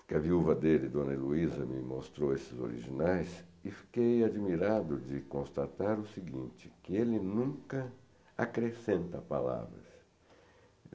porque a viúva dele, Dona Eluísa, me mostrou esses originais, e fiquei admirado de constatar o seguinte, que ele nunca acrescenta palavras.